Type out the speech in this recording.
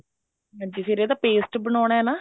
ਹਾਂਜੀ ਫ਼ੇਰ ਇਹਦਾ paste ਬਣਾਉਣਾ ਨਾ